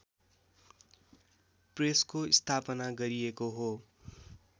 प्रेसको स्थापना गरिएको हो